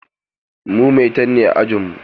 Mu maitan ne a ajinmu.